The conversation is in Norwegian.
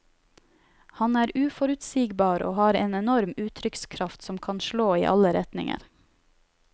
Han er uforutsigbar og har en enorm uttrykkskraft som kan slå i alle retninger.